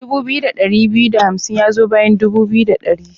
Dubu biyu da ɗari biyu da hamsin ya zo bayan dubu biyu da ɗari.